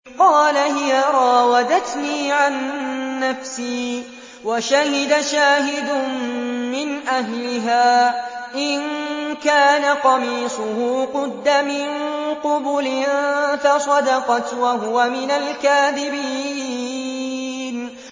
قَالَ هِيَ رَاوَدَتْنِي عَن نَّفْسِي ۚ وَشَهِدَ شَاهِدٌ مِّنْ أَهْلِهَا إِن كَانَ قَمِيصُهُ قُدَّ مِن قُبُلٍ فَصَدَقَتْ وَهُوَ مِنَ الْكَاذِبِينَ